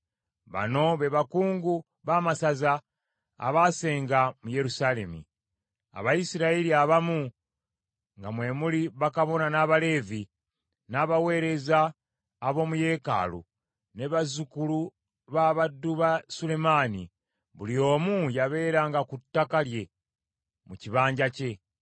Bano be bakungu b’amasaza abaasenga mu Yerusaalemi: Abayisirayiri abamu, nga mwe muli bakabona n’Abaleevi, n’abaweereza ab’omu yeekaalu, ne bazzukulu ba baddu ba Sulemaani; buli omu yabeeranga ku ttaka lye mu kibanja kye.